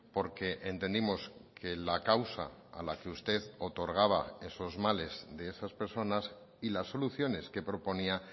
porque entendimos que la causa a la que usted otorgaba esos males de esas personas y las soluciones que proponía